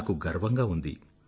నాకు గర్వంగా ఉంది